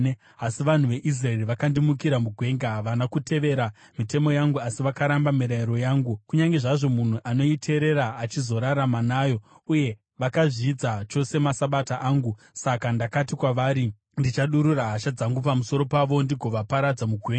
“ ‘Asi vanhu veIsraeri vakandimukira mugwenga. Havana kutevera mitemo yangu asi vakaramba mirayiro yangu, kunyange zvazvo munhu anoiteerera achizorarama nayo, uye vakazvidza chose maSabata angu. Saka ndakati kwavari ndichadurura hasha dzangu pamusoro pavo ndigovaparadza mugwenga.